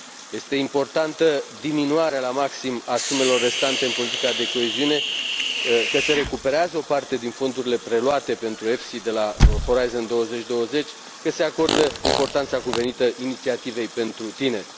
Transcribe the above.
Este importantă diminuarea la maxim a sumelor restante în politica de coeziune, că se recuperează o parte din fondurile preluate pentru ESI de la Orizont 2020, că se acordă importanța cuvenită Inițiativei pentru Tineri.